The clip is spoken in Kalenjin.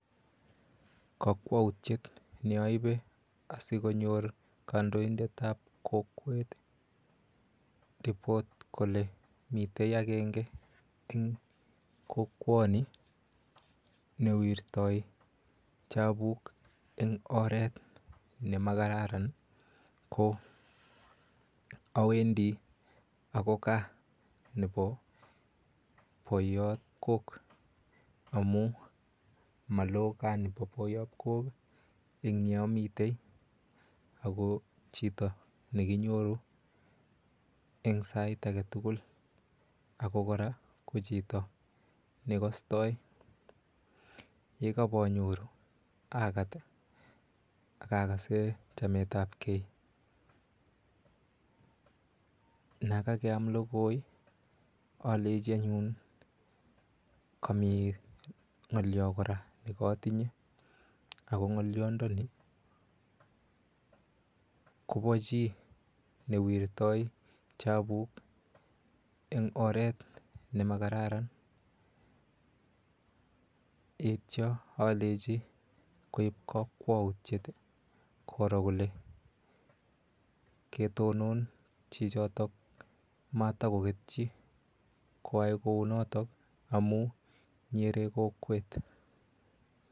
Kakwoutiet neoibe asikonyor kandoinetab kokwet ripot kole mite agenge en kokwoni newirtoi chebut en oret nemakararan ii ko owendo akoi gaa nebo boiyab kook amun maloo gaa nebo boiyab kook en yeomiten, ako chito nekinyoru en sait agetugulako kora ko chito nekostoi, yekobonyoru, akaat ii akakasen chametab gee, nekakeam logoi ii olenjianyun komi ng'olyo kora nekotinye, ako ng'olyondoni kobo chii newirtoi chabuk en oret nemakararan, yeityo olenji koib kokwautyet ii koroo kole ketoton chichoto matakoketchi koyai kounoton amun ny'ere kokwet.